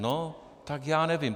No tak já nevím.